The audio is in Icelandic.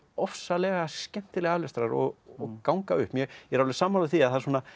ofsalega skemmtileg aflestrar og ganga upp ég er alveg sammála því að